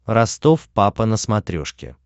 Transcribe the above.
ростов папа на смотрешке